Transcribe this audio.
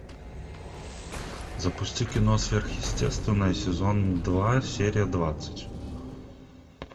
запусти кино сверхъестественное сезон два серия двадцать